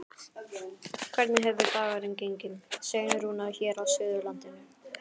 Hvernig hefur dagurinn gengið, Sveinn Rúnar, hér á Suðurlandinu?